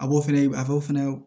A b'o fɛnɛ a b'o fɛnɛ